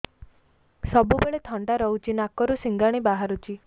ସବୁବେଳେ ଥଣ୍ଡା ରହୁଛି ନାକରୁ ସିଙ୍ଗାଣି ବାହାରୁଚି